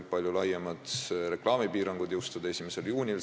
Palju laiemad reklaamipiirangud jõustuvad 1. juunil s.